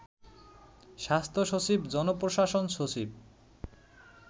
স্বাস্থ্য সচিব, জনপ্রশাসন সচিব